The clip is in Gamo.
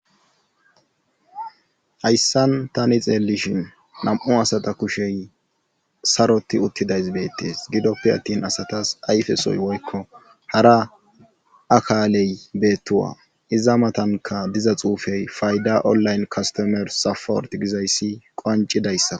hayssan tani xeellishin nam7u asata kushey saroti uttidays beettees gidoppe attin asatas ayfesoy woykko hara akaaley beettuwa iza matanka diza xuufey fayda onlayne kastomer safort gizayssi qancidayssa